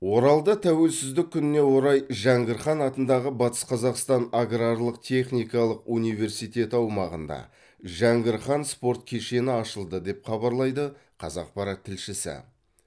оралда тәуелсіздік күніне орай жәңгір хан атындағы батыс қазақстан аграрлық техникалық университеті аумағында жәңгір хан спорт кешені ашылды деп хабарлайды қазақпарат тілшісі